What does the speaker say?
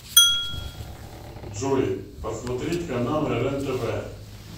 джой посмотреть каналы рен тв